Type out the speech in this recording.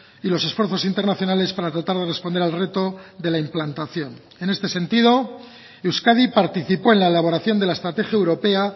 y los esfuerzos internacionales para tratar de responder al reto de la implantación en este sentido euskadi participó en la elaboración de la estrategia europea